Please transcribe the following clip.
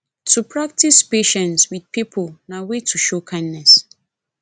to practice patience with pipo na way to show kindness